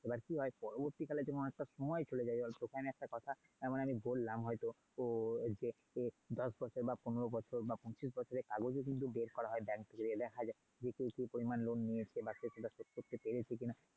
এবার কি হয় পরবর্তীকালে যখন অনেকটা সময় চলে যাই তোকে একটা কথা যেমন আমি বললাম হয়তো যে দশ বছর, পনেরো বছর বা পঁচিশ বছরের কাগজ ও কিন্তু বের করা হয় bank থেকে নিয়ে দেখা যায় কে কি পরিমাণ loan নিয়েছে? বা কে কতটা শোধ করতে পেরেছে কিনা?